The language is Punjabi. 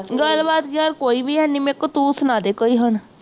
ਗੱਲਬਾਤ ਯਾਰ ਕੋਈ ਵੀ ਹੈ ਨਹੀਂ, ਮੇਰੇ ਕੋਲ, ਤੂੰ ਸੁਣਾ ਦੇ ਕੋਈ ਹੁਣ,